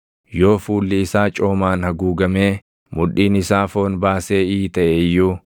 “Yoo fuulli isaa coomaan haguugamee mudhiin isaa foon baasee iitaʼe iyyuu,